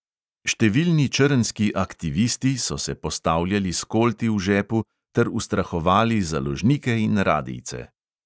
Številni črnski "aktivisti" so se postavljali s kolti v žepu ter ustrahovali založnike in radijce.